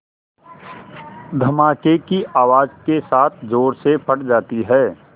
धमाके की आवाज़ के साथ ज़ोर से फट जाती है